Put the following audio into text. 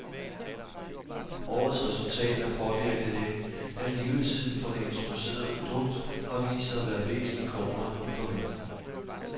Årets resultat er påvirket af, at levetiden for det introducerede produkt har vist sig at være væsentlig kortere end forventet.